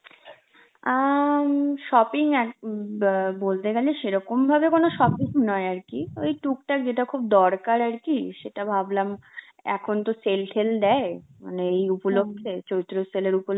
আঁ উম shopping এক~ উম অ্যাঁ বলতে গেলে সেরকম ভাবে কোন shopping নয় আরকি, ওই টুকটাক যেটা খুব দরকার আর কি, সেটা ভাবনা এখন তো sale tale দেয় মানে এই উপলক্ষে, চৈত্র sale এর